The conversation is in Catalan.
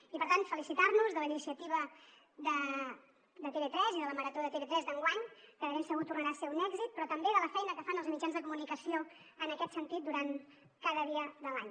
i per tant felicitar nos de la iniciativa de tv3 i de la marató de tv3 d’enguany que de ben segur tornarà a ser un èxit però també de la feina que fan els mitjans de comunicació en aquest sentit durant cada dia de l’any